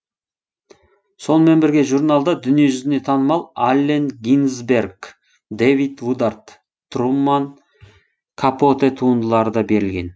сонымен бірге журналда дүниежүзіне танымал аллен гинзберг дэвид вудард труман капоте туындылары да берілген